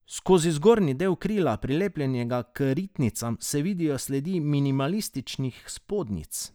Skozi zgornji del krila, prilepljenega k ritnicam, se vidijo sledi minimalističnih spodnjic.